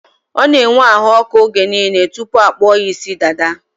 Ọ n'enwe ahụọkụ oge niile tụpụ akpụọ ya ịsị dada